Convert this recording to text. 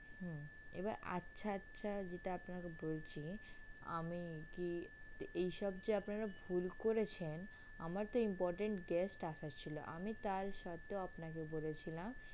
হুম এবার আচ্ছা আচ্ছা যেটা আপনারা বলছেন আমি কি এইসব যে আপনারা ভুল করেছেন আমার তো important guest আসার ছিল আমি তা সত্ত্বেও আপনাকে বলেছিলাম